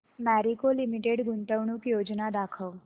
Marico limited गुंतवणूक योजना दाखव